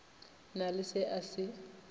na le se a se